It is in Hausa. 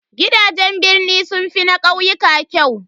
Gidajen birni sun fi na ƙauyuka kyau.